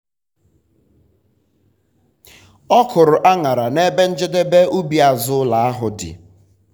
ọ kụrụ aṅyara n'ebe njedebe ubi azụ ụlọ ahụ dị.